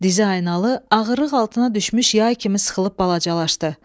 Diziaynalı ağırlıq altına düşmüş yay kimi sıxılıb balacalaşdı.